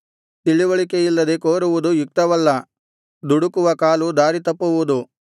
ತಿಳಿವಳಿಕೆಯಿಲ್ಲದೆ ಕೋರುವುದು ಯುಕ್ತವಲ್ಲ ದುಡುಕುವ ಕಾಲು ದಾರಿತಪ್ಪುವುದು